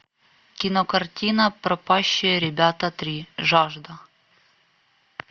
кинокартина пропащие ребята три жажда